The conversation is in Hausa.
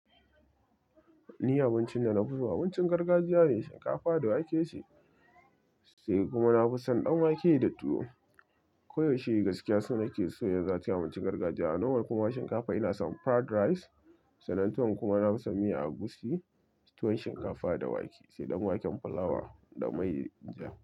Ni abincin da na fi so abincin gargajiya ne, shinkafa da wake sai kuma na fi son ɗan wake da tuwo. Ko yaushe gaskiya sonake so ya zaci abincin gargajiya. A normal kuma shinkafa ina son fried rice, sannan tuwon kuma na fi son miya agushi, tuwon shinkafa da wake sai ɗan waken fulawa da mai ja.